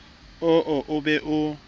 oo o be o mo